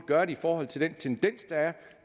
gøre i forhold til den tendens der er